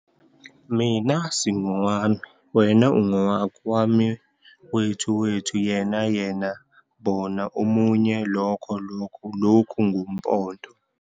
Mina, Singowami, Wena, Ungowakho, Wami, Wethu - Wethu, Yena, Yena, Bona - Omunye, Lokho - Lokho, Lokhu ngu-Poto